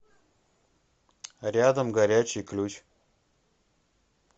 рядом горячий ключ